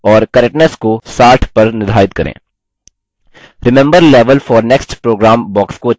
remember level for next program box को check करें